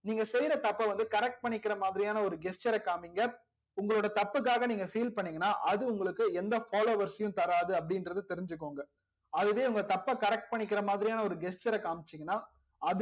நீங்க செய்ற தப்ப வந்து correct பண்ணிக்கிற மாதிரியான ஒரு gesture காமிங்க உங்கலோட தப்புக்காக நீங்க feel பண்ணிங்கனா அது உங்களுக்கு எந்த followers சையும் தராது அப்டி இங்கர்த தெரிஞ்சிகோங்க அதுவே உங்க தப்ப correct பண்ணிக்கிற மாதிரியான ஒரு gesture காம்சிங்கனா